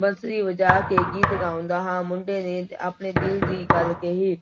ਬੰਸਰੀ ਵਜਾ ਕੇ ਗੀਤ ਗਾਉਂਦਾ ਹਾਂ, ਮੁੰਡੇ ਨੇ ਆਪਣੇ ਦਿਲ ਦੀ ਗੱਲ ਕਹੀ।